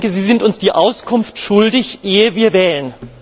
Sie sind uns die Auskunft schuldig, ehe wir wählen.